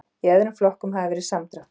Í öðrum flokkum hafi verið samdráttur